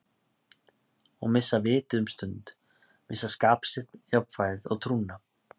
Og missa vitið um stund, missa skap sitt, jafnvægið og trúna.